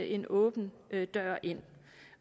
en åben dør ind